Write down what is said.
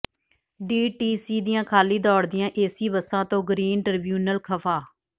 DTC ਦੀਆਂ ਖਾਲੀ ਦੌਡ਼ਦੀਆਂ ਏਸੀ ਬੱਸਾਂ ਤੋਂ ਗਰੀਨ ਟ੍ਰਿਬਿਊਨਲ ਖ਼ਫ਼ਾ